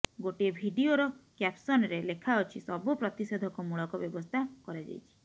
ଗୋଟିଏ ଭିଡିଓର କ୍ୟାପସନରେ ଲେଖାଅଛି ସବୁ ପ୍ରତିଷେଧକମୂଳକ ବ୍ୟବସ୍ଥା କରାଯାଇଛି